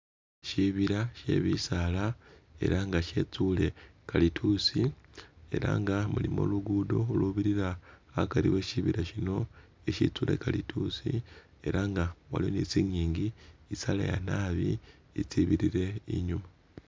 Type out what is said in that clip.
Shibila she bisala elah nga she tsule kalitusi elah nga mulimo luguddo lulubirila akari we'shibila sino eshitsule kalitusi elah nga waliwo ni tsingingi itsaleya naabi itsibirile inyuuma